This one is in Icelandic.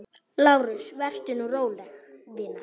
LÁRUS: Vertu nú róleg, vina.